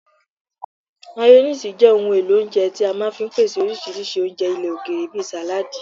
Mayoníìsì jẹ́ ohun èlò oúnjẹ tí a máa fi ń pèsè oríṣiríṣi oúnjẹ ilẹ̀ òkèèrè bí sàládi